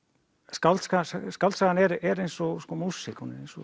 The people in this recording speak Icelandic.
skáldsagan skáldsagan er eins og músík hún er eins og